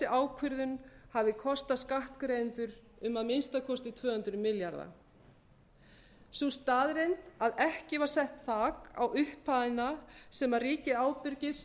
ákvörðun hafi kostað skattgreiðendur um að minnsta kosti tvö hundruð milljarða sú staðreynd að ekki var sett þak á upphæðina sem ríkið